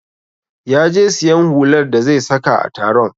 Ya je siyan hular da zai saka a taron